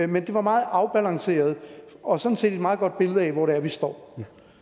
men det var meget afbalanceret og sådan set et meget godt billede af hvor det er vi står